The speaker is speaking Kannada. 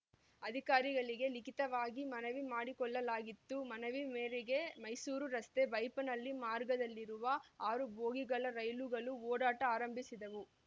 ಅಧಿಕಾರಿಗಳಿಗೆ ಲಿಖಿತವಾಗಿ ಮನವಿ ಮಾಡಿಕೊಳ್ಳಲಾಗಿತ್ತು ಮನವಿ ಮೇರೆಗೆ ಮೈಸೂರು ರಸ್ತೆಬೈಯಪ್ಪನಹಳ್ಳಿ ಮಾರ್ಗದಲ್ಲಿ ಆರು ಬೋಗಿಗಳ ರೈಲುಗಳು ಓಡಾಟ ಆರಂಭಿಸಿದವು